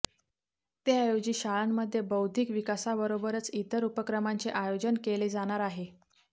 त्याऐवजी शाळांमध्ये बौद्धिक विकासाबरोबरच इतर उपक्रमांचे आयोजन केले जाणार आहे